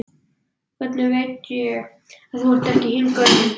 Hvernig veit ég að þú ert ekki hinn gaurinn, spurði